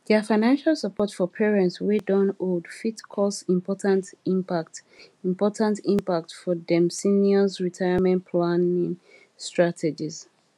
their financial support for parents wey don old fit cause important impact important impact for dem seniors retirement planning strategies